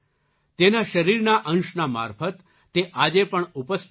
તેના શરીરના અંશના મારફત તે આજે પણ ઉપસ્થિત છે